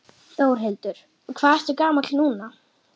Þórhildur: Og hvað ertu gamall núna?